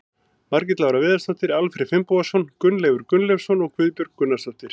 Margrét Lára Viðarsdóttir, Alfreð Finnbogason, Gunnleifur Gunnleifsson og Guðbjörg Gunnarsdóttir.